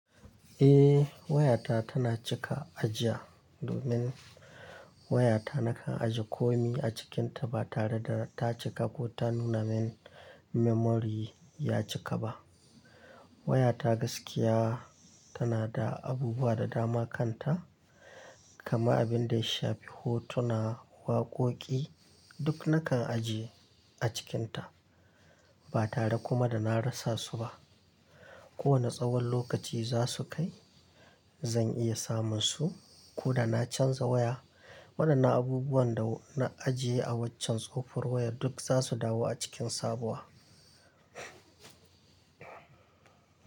Eh, wayata tana cika ajiya domin wayata nakan ajiye komi a cikinta ba tare da ta cika ko ta nuna min memory ya cika ba. Wayata gaskiya tana da abubuwa da dama kanta, kaman abin da ya shafi hotuna, waƙoƙi duk nakan ajiye a cikinta ba tare kuma da na rasa su ba. Kowane tsawon lokaci za su kai zan iya samun su ko da na canza waya. Wadannan abubuwan da na ajiye a waccen tsofon wayar duk za su dawo a cikin sabuwa.